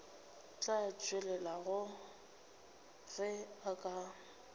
tla tswalelega ge o ka